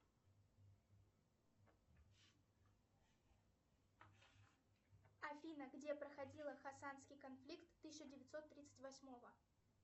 афина где проходила хасанский конфликт тысяча девятьсот тридцать восьмого